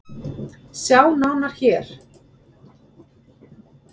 Sjá nánar hér.